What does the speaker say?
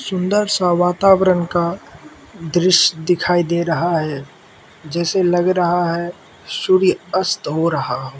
सुंदर सा वातावरण का दृश्य दिखाई दे रहा है जैसे लग रहा है सूर्य अस्त हो रहा हो।